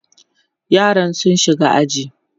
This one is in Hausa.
yaran sun shiga aji